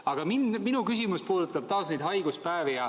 Aga minu küsimus puudutab taas neid haiguspäevi.